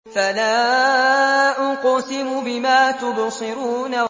فَلَا أُقْسِمُ بِمَا تُبْصِرُونَ